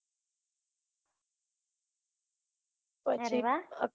ત્યાં રેવા